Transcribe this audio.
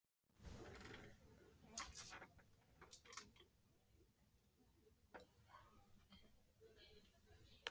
Var hún búin að borða eitthvað að ráði?